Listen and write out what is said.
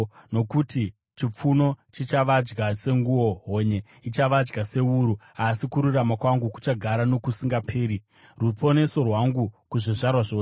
Nokuti chipfuno chichavadya senguo; honye ichavadya sewuru. Asi kururama kwangu kuchagara nokusingaperi, ruponeso rwangu kuzvizvarwa zvose.”